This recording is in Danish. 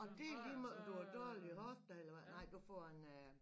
Og det er ligemeget om du har dårlige hofter eller hvad nej du får en øh